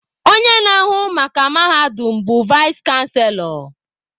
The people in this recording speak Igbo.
Onye na-ahụ maka mahadum bụ vaịs chanselọ